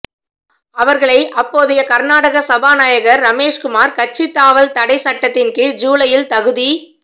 அவர்களை அப்போதைய கர்நாடக சபாநாயகர் ரமேஷ்குமார் கட்சி தாவல் தடை சட்டத்தின் கீழ் ஜூலையில் தகுதி